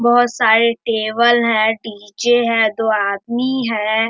बहोत सारे टेबल है डी.जे. है दो आदमी है।